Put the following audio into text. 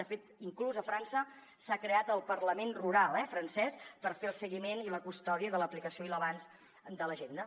de fet inclús a frança s’ha creat el parlament rural francès per fer el seguiment i la custòdia de l’aplicació i l’avanç de l’agenda